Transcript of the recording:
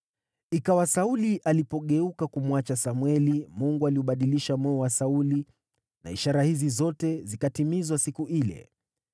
Ikawa Sauli alipogeuka kumwacha Samweli, Mungu aliubadilisha moyo wa Sauli, na ishara hizi zote zikatimizwa siku ile.